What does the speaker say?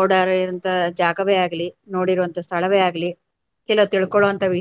ಓಡಾಡಿರುವಂತ ಜಾಗವೇ ಆಗ್ಲಿ, ನೋಡಿರುವಂತ ಸ್ಥಳವೆ ಆಗ್ಲಿ ಕೆಲವು ತಿಳ್ಕೊಳುವಂತ.